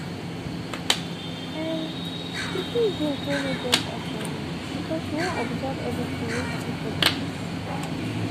um she choose drink whey no get alcohol because she wan observe everything whey happen for the party